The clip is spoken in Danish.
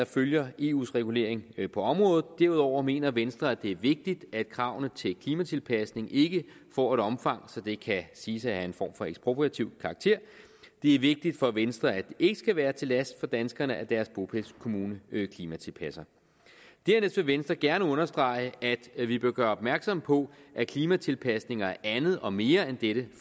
følge eus regulering på området derudover mener venstre at det er vigtigt at kravene til klimatilpasning ikke får et omfang så det kan siges at have en form for ekspropriativ karakter det er vigtigt for venstre at det ikke skal være til last for danskerne at deres bopælskommune klimatilpasser dernæst vil venstre gerne understrege at vi vi bør gøre opmærksom på at klimatilpasning er andet og mere end dette